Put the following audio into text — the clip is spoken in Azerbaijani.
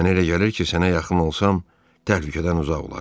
Mənə elə gəlir ki, sənə yaxın olsam, təhlükədən uzaq olarsan.